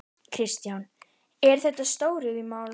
Kristján: Eru þetta stóriðjumál?